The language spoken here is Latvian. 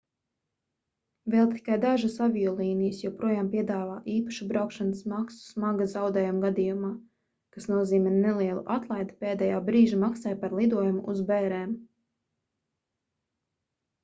vēl tikai dažas aviolīnijas joprojām piedāvā īpašu braukšanas maksu smaga zaudējuma gadījumā kas nozīmē nelielu atlaidi pēdējā brīža maksai par lidojumu uz bērēm